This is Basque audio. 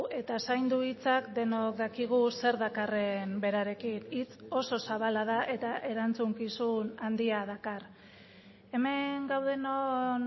eta zaindu hitzak denok dakigu zer dakarren berarekin hitz oso zabala da eta erantzukizun handia dakar hemen gaudenon